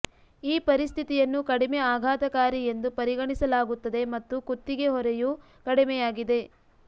ಈ ಪರಿಸ್ಥಿತಿಯನ್ನು ಕಡಿಮೆ ಆಘಾತಕಾರಿ ಎಂದು ಪರಿಗಣಿಸಲಾಗುತ್ತದೆ ಮತ್ತು ಕುತ್ತಿಗೆ ಹೊರೆಯು ಕಡಿಮೆಯಾಗಿದೆ